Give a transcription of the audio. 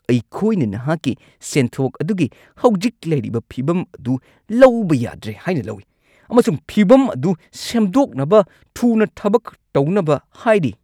ꯑꯩꯈꯣꯏꯅ ꯅꯍꯥꯛꯀꯤ ꯁꯦꯟꯊꯣꯛ ꯑꯗꯨꯒꯤ ꯍꯧꯖꯤꯛ ꯂꯩꯔꯤꯕ ꯐꯤꯕꯝ ꯑꯗꯨ ꯂꯧꯕ ꯌꯥꯗ꯭ꯔꯦ ꯍꯥꯏꯅ ꯂꯧꯏ ꯑꯃꯁꯨꯡ ꯐꯤꯕꯝ ꯑꯗꯨ ꯁꯦꯝꯗꯣꯛꯅꯕ ꯊꯨꯅ ꯊꯕꯛ ꯇꯧꯅꯕ ꯍꯥꯏꯔꯤ꯫